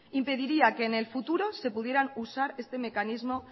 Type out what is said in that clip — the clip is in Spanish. impediría que en el futuro se pudiera usar este mecanismo